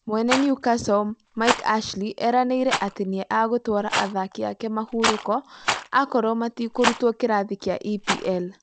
Mwene Newcastle, Mike Ashley eranĩire atĩ nĩ agũtwaara athaki aake mahuroko akorwo matikũrutwo kĩrathi gĩa EPL.